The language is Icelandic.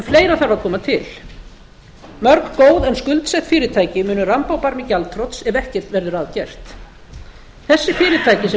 fleira þarf að koma til mörg góð en skuldsett fyrirtæki munu ramba á barmi gjaldþrots ef ekkert verður að gert þessi fyrirtæki sem